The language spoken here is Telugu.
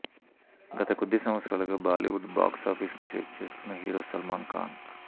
గత కొద్ది సంవత్సరాలుగా బాలీవుడ్ బాక్స్ ఆఫీసు ని షేక్ చేస్తున్న హీరో సల్మాన్ ఖాన్